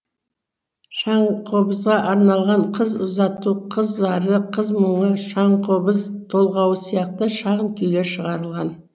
шаңқобызға арналған қыз ұзату қыз зары қыз мұңы шаңқобыз толғауы сияқты шағын күйлер шығарылған